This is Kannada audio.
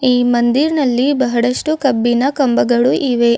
ಈ ಮಂದಿರ್ ನಲ್ಲಿ ಬಹಳಷ್ಟು ಕಬ್ಬಿಣ ಕಂಬಗಳು ಇವೆ.